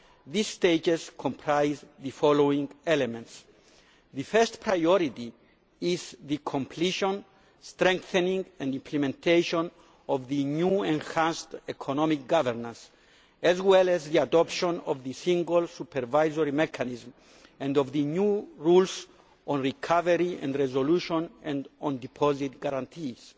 These stages comprise the following elements the first priority is the completion, strengthening and implementation of the new enhanced economic governance as well as the adoption of the Single Supervisory Mechanism and of the new rules on recovery and resolution and on deposit guarantees.